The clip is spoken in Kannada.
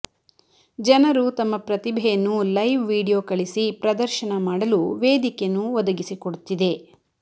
ಜನರು ತಮ್ಮ ಪ್ರತಿಭೆಯನ್ನು ಲೈವ್ ವಿಡಿಯೊ ಕಳಿಸಿ ಪ್ರದರ್ಶನ ಮಾಡಲು ವೇದಿಕೆ ನು ಒದಗಿಸಿಕೊಡುತ್ತಿದೆ